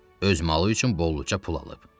Öz malı üçün bolluca pul alıb.